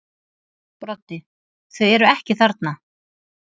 Broddi: Þau eru ekki þarna.